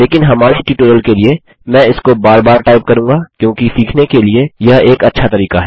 लेकिन हमारे ट्यूटोरियल के लिए मैं इसको बार बार टाइप करूँगा क्योंकि सीखने के लिए यह एक अच्छा तरीका है